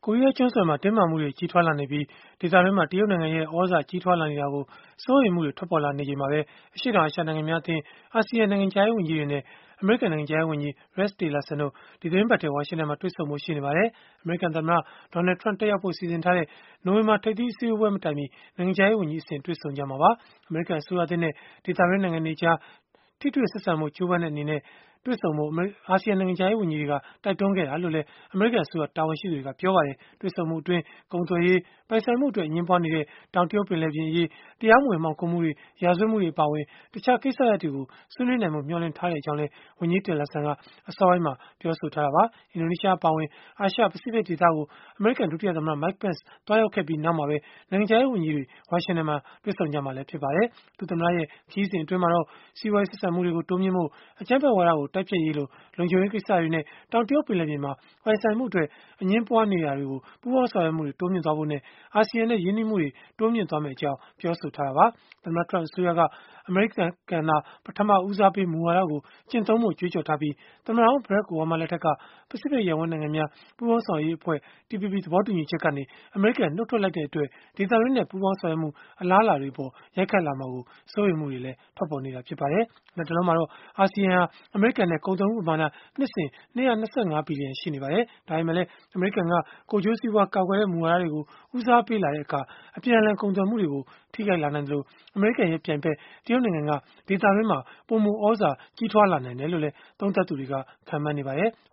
ိုရီးယားကျွန်းဆွယ်က တင်းမာမှုတွေနဲ့၊ ဒေသတွင်းမှာ တရုတ်နိုင်ငံရဲ့ သြဇာကြီးထွားလာနေတာကို စိုးရိမ်မှုတွေ ထွက်ပေါ်လာနေချိန်မှာပဲ အရှေ့တောင်အာရှ နိုင်ငံများအသင်း (Asean) နိုင်ငံခြားရေးဝန်ကြီးတွေနဲ့ အမေရိကန် နိုင်ငံခြားရေးဝန်ကြီး Rex Tillerson တို့ ဒီသီတင်းပတ်ထဲ ဝါရှင်တန်မှာ တွေ့ဆုံဖို့ ရှိနေပါတယ်။ အမေရိကန်သမ္မတ Donald Trump တက်ရောက်ဖို့ စီစဉ်ထားတဲ့ နိုဝင်ဘာ ထိပ်သီးအစည်းအဝေးပွဲတွေ မတိုင်မီ နိုင်ငံခြားရေးဝန်ကြီးအဆင့် တွေ့ဆုံကြမှာပါ။ အမေရိကန်အစိုးရသစ်နဲ့ ဒေသတွင်း နိုင်ငံတွေကြား ထိတွေ့ဆက်ဆံဖို့ ကြိုးပမ်းတဲ့အနေနဲ့ တွေ့ဆုံဖို့ အာဆီယံနိုင်ငံခြားရေးဝန်ကြီးတွေက တိုက်တွန်းခဲ့တာလို့လည်း အမေရိကန် အစိုးရ တာဝန်ရှိသူတွေက ပြောပါတယ်။ တွေ့ဆုံမှုအတွင်း ကုန်သွယ်ရေး၊ ပိုင်ဆိုင်မှုအတွက် အငြင်းပွားနေတဲ့ တောင်တရုတ် ပင်လယ်ပြင်အရေး၊ တရားမဝင် မှောင်ခိုမှုတွေ၊ ရာဇဝတ်မှုတွေ အပါအဝင် တခြားကိစ္စရပ်တွေကို ဆွေးနွေးနိုင်ဖို့ မျှော်လင့်ကြောင်းလည်း ဝန်ကြီး Tillerson က အစောပိုင်းမှာ ပြောဆိုထားတာပါ။ အင်ဒိုနီးရှားအပါအဝင် အာရှ-ပစိဖိတ်ဒေသကို အမေရိကန် ဒုတိယသမ္မတ Mike Pence သွားရောက်ခဲ့ပြီး နောက်မှာပဲ နိုင်ငံခြားရေး ဝန်ကြီးတွေ ဝါရှင်တန် မှာ တွေ့ဆုံကြမှာ ဖြစ်ပါတယ်။ ဒုသမ္မတရဲ့ ခရီးစဉ် အတွင်းမှာတော့ စီးပွားရေး ဆက်ဆံ မှုတွေ တိုးမြှင့်ဖို့၊ အကြမ်းဖက်ဝါဒကို တိုက်ဖျက်ရေးလို လုံခြုံရေး ကိစ္စတွေနဲ့ တောင်တရုတ်ပင်လယ်ပြင်မှာ ပိုင်ဆိုင်မှုအတွက် အငြင်းပွားမှုတွေမှာ ပူးပေါင်းဆောင်ရွက်မှုတွေ တိုးမြှင့်ဖို့ အာဆီယံနဲ့ ရင်းနှီးမှုတွေ တိုးမြှင့်သွားမယ့်အကြောင်း ပြောဆိုထားတာပါ။ သမ္မတ Trump အစိုးရက အမေရိကန်သာ ပထမဦးစားပေး မူဝါဒကို ကျင့်သုံးဖို့ ကြွေးကြော်ထားပြီး၊ သမ္မတဟောင်း ဘရက်ခ် အိုဘားမား လက်ထက်က ပစိဖိတ်ရပ်ဝန်း နိုင်ငံများ ပူးပေါင်းဆောင်ရွက်ရေးအဖွဲ့ (TPP) ကနေ အမေရိကန်နှုတ်ထွက်လိုက်တဲ့အတွက် ဒေသတွင်းနဲ့ ပူးပေါင်းဆောင်ရွက်မှုတွေအပေါ် ရိုက်ခတ်လာမှာကို စိုးရိမ်မှုတွေလည်း ထွက်ပေါ်နေတာ ဖြစ်ပါတယ်။ လတ်တလောမှာတော့ အာဆီယံဟာ အမေရိကန်နဲ့ ကုန်သွယ်မှုပမာဏ နှစ်စဉ် ၂၂၅ ဘီလီယံ ရှိနေပါတယ်။ ဒါပေမဲ့လည်း အမေရိကန်က ကိုယ်ကျိုးစီးပွား ကာကွယ်တဲ့ မူဝါဒတွေကို ဦးစားပေးလာတဲ့အခါ အပြန်အလှန်ကုန်သွယ်မှုတွေကို ထိခိုက်လာနိုင်သလို၊ အမေရိကန်ရဲ့ပြိုင်ဘက် တရုတ်နိုင်ငံက ဒေသတွင်းမှာ ပိုမိုသြဇာကြီးထွား လာနိုင်တယ်လို့လည်း သုံးသပ်သူတွေ ခန့်မှန်းနေကြပါတယ်။